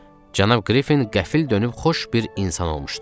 cənab Qriffin qəfil dönüb xoş bir insan olmuşdu.